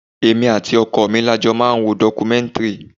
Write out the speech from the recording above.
Èmi àti ọkọ mi la jọ máa ń wo documentary.